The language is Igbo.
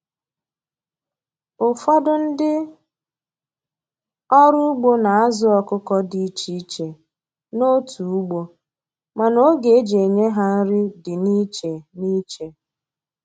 Ụfọdụ ndị ọrụ ugbo n'azu ọkụkọ dị ichè ichè n'otu ugbo, mana ógè eji enye ha nri dị n'iche n'iche.